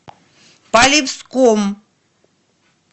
полевском